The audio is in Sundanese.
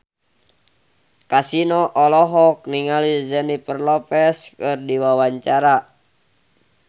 Kasino olohok ningali Jennifer Lopez keur diwawancara